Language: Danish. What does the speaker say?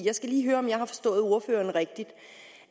jeg skal lige høre om jeg har forstået ordføreren rigtigt